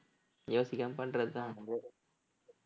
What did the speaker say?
யோசிக்காம பண்றதுதான் விடு